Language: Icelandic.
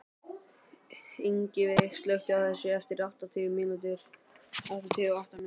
Ingiveig, slökktu á þessu eftir áttatíu og átta mínútur.